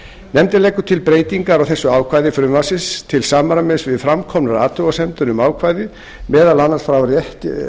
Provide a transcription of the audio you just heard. nefndin leggur til breytingar á þessu ákvæði frumvarpsins til samræmis við framkomnar athugasemdir um ákvæðið meðal annars frá